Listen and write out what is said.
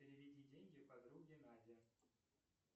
переведи деньги подруге наде